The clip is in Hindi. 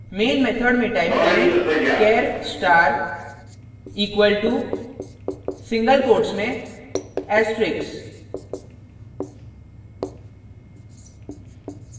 main method में type करें char star equal to single quotes में asterisk